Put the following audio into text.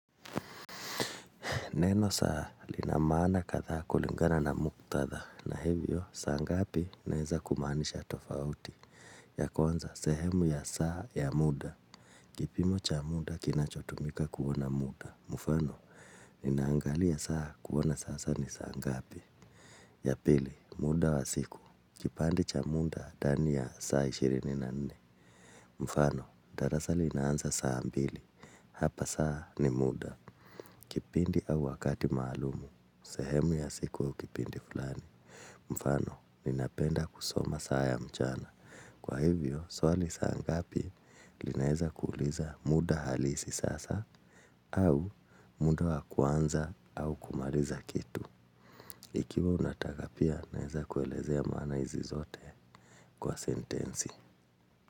Neno saa lina maana kadhaa kulingana na muktatha na hivyo saa ngapi inaeza kumaanisha tofauti ya kwanza sehemu ya saa ya muda. Kipimo cha muda kinachotumika kuona muda. Mfano ninaangalia saa kuona sasa ni saa ngapi. Ya pili muda wa siku. Kipande cha muda ndani ya saa ishirini na nne. Mfano darasa linaanza saa mbili. Hapa saa ni muda. Kipindi au wakati maalum. Sehemu ya siku au kipindi fulani. Mfano, ninapenda kusoma saa ya mchana. Kwa hivyo, swali saa ngapi. Linaeza kuuliza muda halisi sasa. Au, muda wa kuanza au kumaliza kitu. Ikiwa unataka pia, naeza kuelezea maana hizi zote. Kwa sentensi.